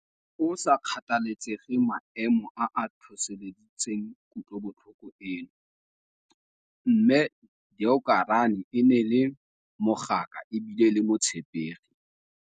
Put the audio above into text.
Go sa kgathalesege maemo a a tlhotlheleditseng kutlobotlhoko eno, Mme Deokarane ne e le mogaka e bile e le motshepegi.